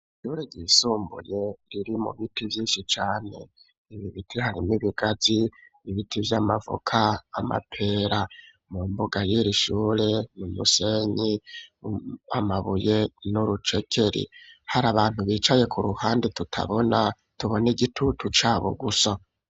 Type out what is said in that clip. Ishure ryisumbuye riri mu biti vyinshi cane, ibibiti harimwo ibigazi, ibiti vy,amavoka, amapera, mu mbuga y'iri shure mu musenyi, amabuye, n'urucekeri ,hari abantu bicaye ku ruhande tutabona tubona igitutu cabo gusa.